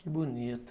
Que bonito.